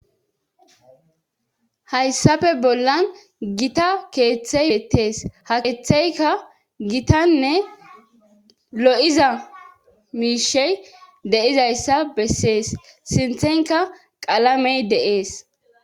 Hayssafe bollan gita keeththey eettees ha keetheyka gitanne lo'iza miishey deizayssa bessees sinthenka qalamey dees.